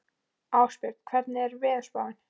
Ástbjörn, hvernig er veðurspáin?